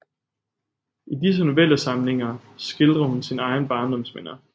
I disse Novellesamlinger skildrer hun sine egne Barndomsminder